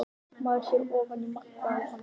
Maður sér ofan í maga á honum